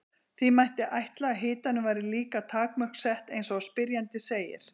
því mætti ætla að hitanum væri líka takmörk sett eins og spyrjandi segir